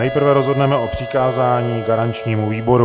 Nejprve rozhodneme o přikázání garančnímu výboru.